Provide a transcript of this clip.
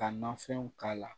Ka nafɛnw k'a la